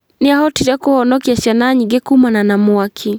Nĩahotire kũhonokia ciana nyingĩ kumana na mwaki